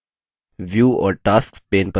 view और tasks pane पर click करें